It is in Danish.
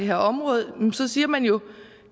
her område siger man jo at